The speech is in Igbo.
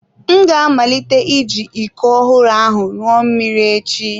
M ga-amalite iji iko ọhụrụ ahụ ṅụọ mmiri echi.